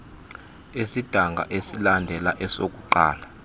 esidanga esilandela esokuqala